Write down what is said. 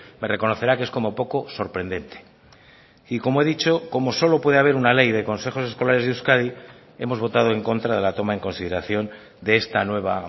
me reconocerá que es como poco sorprendente y como he dicho como solo puede haber una ley de consejos escolares de euskadi hemos votado en contra de la toma en consideración de esta nueva